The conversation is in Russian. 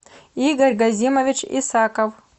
игорь газимович исаков